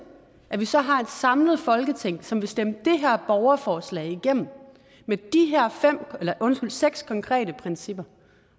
at vi så har et samlet folketing som vil stemme det her borgerforslag igennem med de her seks konkrete principper